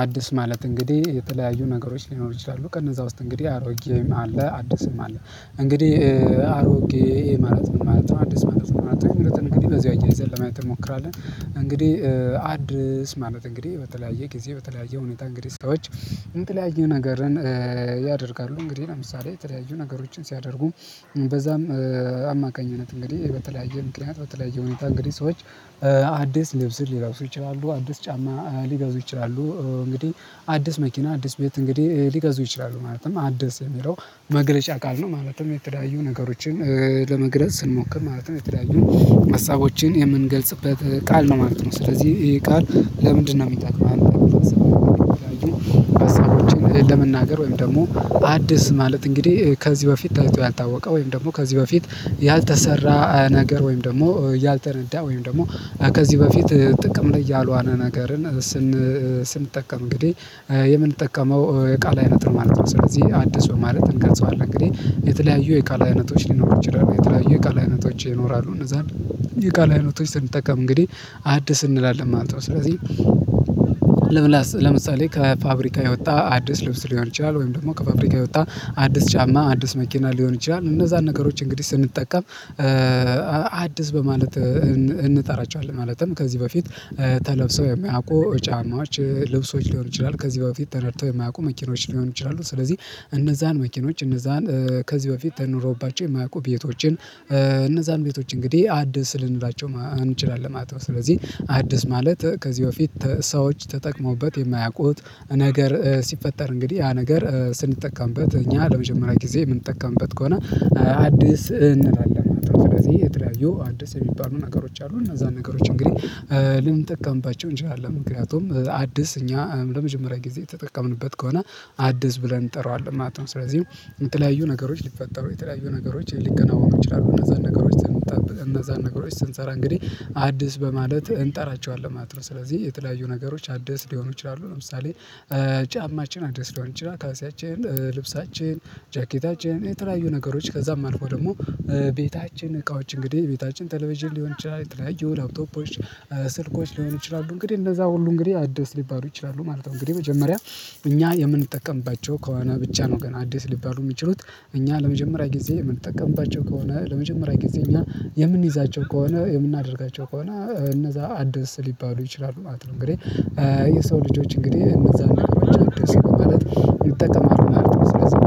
አዲስ ማለት እንግዲህ የተለያዩ ነገሮች ሊኖሩ ይችላሉ ከነዛ ውስጥ እንግዲህ አሮጌም አለ አዲስም አለ እንግዲህ አሮጌ ማለት ነው ማለት አዲስ ማለት ነው ማለት እንግዲህ በዚህ አያይዘህ ለማየት እንሞክራለን። እንግዲህ አዲስ ማለት እንግዲህ በተለያየ ጊዜ በተለያየ ሁኔታ እንግዲህ ሰዎች የተለያዩ ነገርን ያደርጋሉ እንግዲህ ለምሳሌ የተለያዩ ነገሮችን ሲያደርጉ በዛም አማካኝነት እንግዲህ በተለያየ ምክንያት በተለያየ ሁኔታ እንግዲህ ሰዎች አዲስ ልብስን ሊረሱ ይችላሉ አዲስ ጫማ ሊገዙ ይችላሉ እንግዲህ አዲስ መኪና አዲስ ቤት እንግዲ ሊገዙ ይችላሉ ማለትም አዲስ የሚለው መግለጫ ቃል ነው ማለትም የተለያዩ ነገሮችን ለመግለጽ ስንሞክር ማለትም የተለያዩ ሀሳቦችን የምንገልጽበት ቃል ነው ማለት ነው። ስለዚህ ቃል ለምንድነው የሚጠቅመን? ሀሳቦችን ለመናገር ወይም ደግሞ አዲስ ማለት እንግዲህ ከዚህ በፊት ታይቶ ያልታወቀ ወይም ደግሞ ከዚህ በፊት ያልተሰራ ነገር ወይም ደግሞ ያልተነዳ ወይም ደግሞ ከዚህ በፊት ጥቅም ላይ ያልዋለ ነገርን ስንጠቀም እንግዲህ የምንጠቀመው የቃል አይነት ማለት ነው። ስለዚህ አዲስ ማለት እንቀርጸዋለን እንግዲህ የተለያዩ የቃል አይነቶች ሊኖሩ ይችላሉ የተለያዩ የቃል አይነቶች ይኖራሉ እነዛን የቃል አይነቶች ስንጠቀም እንግዲህ አዲስ እንላለን ማለት ነው። ስለዚህ ለምሳሌ ከፋብሪካ የወጣ አዲስ ልብስ ሊሆን ይችላል ወይም ደግሞ ከፋብሪካ የወጣ አዲስ ጫማ አዲስ መኪና ሊሆን ይችላል እነዛን ነገሮች እንግዲህ ስንጠቀም አዲስ በማለት እንጠራቸዋለን። ማለትም ከዚህ በፊት ተለብሶ የሚያውቁ ጫማች ልብሶች ሊሆኑ ይችላሉ ከዚህ በፊት ተነድተው የማያውቁ መኪኖች ሊሆኑ ይችላሉ። ስለዚህ እነዛን መኪኖች እነዛን ከዚህ በፊት ተኖሮባቸው የማያውቁ ቤቶችን እነዛን ቤቶች እንግዲህ አዲስ ልንላቸው እንችላለን ማለት ነው። ስለዚህ አዲስ ማለት ከዚህ በፊት ሰዎች ተጠቅመውበት የማያውቁት ነገር ሲፈጠር እንግዲህ ያ ነገር ስንጠቀምበት እኛ ለመጀመሪያ ጊዜ የምንጠቀምበት ከሆነ አዲስ እንላለን ማለት ነው። ስለዚህ የተለያዩ አዲስ የሚባሉ ነገሮች አሉ እነዛ ነገሮች እንግዲህ ልንጠቀምባቸው እንችላለን ምክንያቱም አዲስ እኛ ለመጀመሪያ ጊዜ የተጠቀምንበት ከሆነ አዲስ ብለን እንጠራዋለን ማለት ነው። ስለዚህ የተለያዩ ነገሮች ሊፈጠሩ የተለያዩ ነገሮች ሊከናው ሊሆኑ ይችላሉ እነዛን ነገሮች እነዛን ነገሮች ስንሰራ እንግዲህ አዲስ በማለት እንጠራቸዋለን ማለት ነው። ስለዚህ የተለያዩ ነገሮች አዲስ ሊሆኑ ይችላሉ ለምሳሌ ጫማችን አዲስ ሊሆን ይችላል። ካልሲያችን ልብሳችን ጃኬታችን የተለያዩ ነገሮች ከዛም አልፎ ደግሞ ቤታችን እቃዎች እንግዲህ ቤታችን ተሌቬዥን ሊሆን ይችላል የተለያየው ላፕቶፖች ስልኮች ሊሆን ይችላሉ እንግዲህ እንደዛ ሁሉ እንግዲህ አዲስ ሊባሉ ይችላሉ ማለት ነው። እንግዲህ መጀመሪያ እኛ የምንጠቀምባቸው ከሆነ ብቻ ነው ገና አዲስ ሊባሉ የሚችሉት እኛ ለመጀመሪያ ጊዜ የምንጠቀምባቸው ከሆነ ለመጀመሪያ ጊዜ እኛ የምንይዛቸው ከሆነ የምናደርጋቸው ከሆነ እነዛ አዲስ ሊባሉ ይችላሉ ማለት ነው። እንግዲህ የሰው ልጆች እንግዲህ እነዛን ከበጀ አዲስ ነው ማለት ይጠቀማሉ ማለት ነው። ስለዚህ